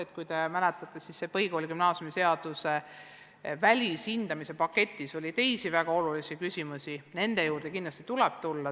Nagu te mäletate, siis põhikooli- ja gümnaasiumiseaduse välishindamise paketis oli ka teisi väga olulisi küsimusi – nende juurde tuleb kindlasti tagasi tulla.